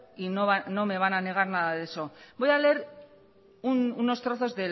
y no me van a negar nada de eso voy a leer unos trozos